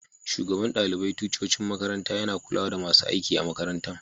Shugaban dalibain ticcocin makaranta ya na kulawa da masun aiki a'makarantan.